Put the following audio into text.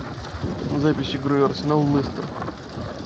запись игры арсенал лестер